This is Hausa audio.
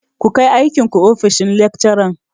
Ku kai aikin ku ofishin lekcaran!